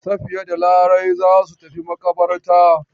Safiya da Larai za su tafi maƙabarta.